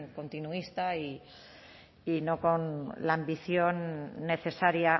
continuista y no con la ambición necesaria